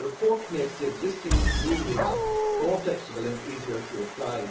It makes the existing rules more flexible and easier to apply.